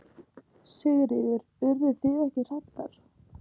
Sigríður: Urðu þið ekki hræddar?